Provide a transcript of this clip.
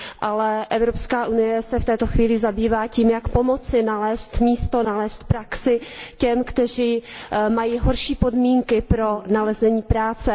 Ale Evropská unie se v této chvíli zabývá tím, jak pomoci nalézt místo, nalézt praxi těm, kteří mají horší podmínky pro nalezení práce.